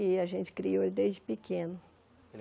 E a gente criou ele desde pequeno.